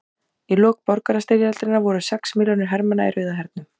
Í lok borgarastyrjaldarinnar voru sex milljónir hermanna í Rauða hernum.